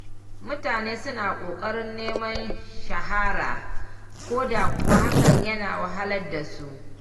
Mutane suna ƙoƙarin neman shahara, ko da kuwa hakan yana wahalar da su.